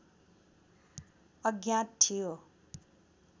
अज्ञात थियो